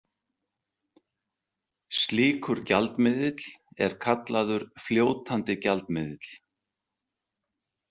Slíkur gjaldmiðill er kallaður fljótandi gjaldmiðill.